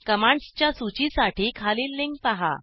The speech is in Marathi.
कमांड्सच्या सूचीसाठी खालील लिंक पहा